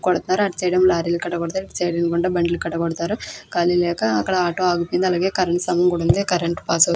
కొడతారు అటు side lorry లు కాడ కొడతారు ఇటు సైడు ఎదురుకుంట బండ్ల కాడ కొడతారు కాలి లేక అక్కడ ఆటో ఆగిపోయింది అలాగే కరెంటు స్తంభం కూడా ఉంది కరెంటు పాస్ అవుతు --